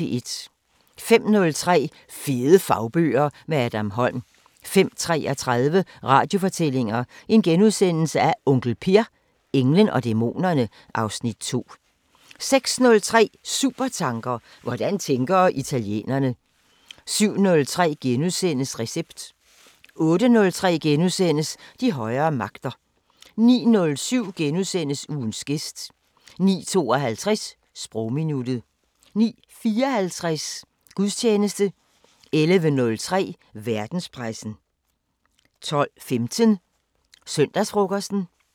05:03: Fede fagbøger – med Adam Holm 05:33: Radiofortællinger: Onkel Per – englen og dæmonerne (Afs. 2)* 06:03: Supertanker: Hvordan tænker italienerne? 07:03: Recept * 08:03: De højere magter * 09:07: Ugens gæst * 09:52: Sprogminuttet 09:54: Gudstjeneste 11:03: Verdenspressen 12:15: Søndagsfrokosten